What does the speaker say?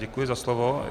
Děkuji za slovo.